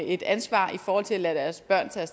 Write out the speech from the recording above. et ansvar i forhold til at lade deres børn tage